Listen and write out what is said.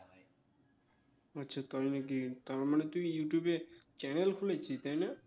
ও আচ্ছা তাই নাকি তার মানে তুই ইউটিউবে channel খুলেছিস তাই না?